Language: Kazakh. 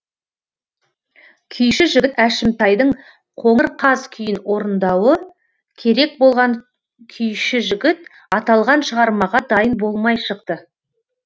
күйші жігіт әшімтайдың қоңыр қаз күйін орындауы керек болған күйші жігіт аталған шығармаға дайын болмай шықты